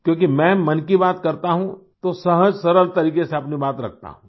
क्योंकि मैं मन की बात करता हूँ तो सहजसरल तरीक़े से अपनी बात रखता हूँ